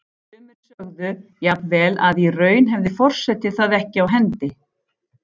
Sumir sögðu jafnvel að í raun hefði forseti það ekki á hendi.